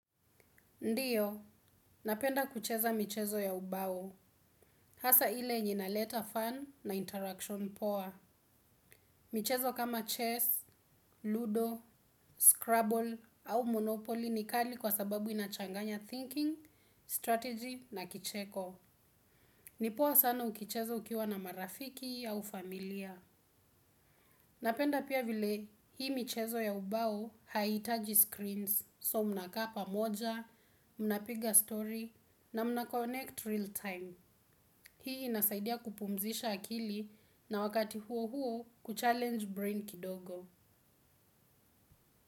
Ndiyo, napenda kucheza michezo ya ubao. Hasaa ile inaleta fun na interaction poa. Michezo kama chess, ludo, scrabble au monopoly ni kali kwa sababu inachanganya thinking, strategy na kicheko. Ni poa sana ukicheza ukiwa na marafiki au familia. Napenda pia vile hii michezo ya ubao haihitaji screens. So munakaa pamoja, munapiga story na muna connect real time. Hii inasaidia kupumzisha akili na wakati huo huo kuchallenge brain kidogo.